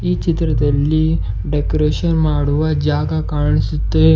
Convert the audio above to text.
ಈ ಚಿತ್ರದಲ್ಲಿ ಡೆಕೋರೇಷನ್ ಮಾಡುವ ಜಾಗ ಕಾನಿಸುತ್ತೆ.